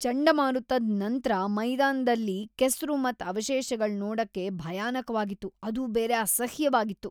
ಚಂಡಮಾರುತದ್ ನಂತ್ರ ಮೈದಾನದಲ್ಲಿನ್ ಕೆಸ್ರು ಮತ್ ಅವಶೇಷಗಳ್ ನೋಡಕ್ಕೆ ಭಯಾನಕವಾಗಿತ್ತು. ಅದು ಬೇರೆ ಅಸಹ್ಯವಾಗಿತ್ತು.